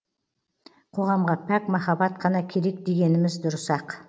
қоғамға пәк махаббат қана керек дегеніміз дұрыс ақ